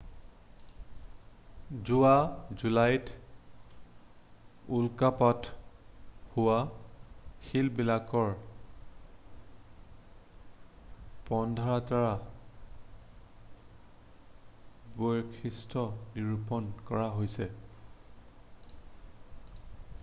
যোৱা জুলাইত উল্কাপাত হোৱা শিলবিলাকৰ পোন্ধৰটাৰ বৈশিষ্ট্য নিৰূপন কৰা হৈছে